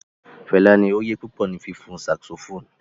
Fẹla ni oyé pupọ ni fifun saxophone